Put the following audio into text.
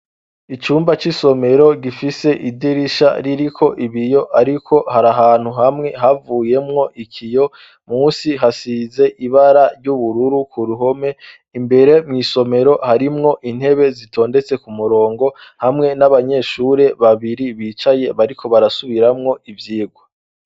Icumba c'isomero, gifise idirisha ririko ibiyo ariko hari ahantu hamwe havuyemwo ikiyo, munsi hasize ibara ry'ubururu, k'uruhome imbere mw'isomero harimwo intebe zitondetse ku murongo, hamwe n'abanyeshure babiri bicaye bariko barasubiramwo ivyigwa.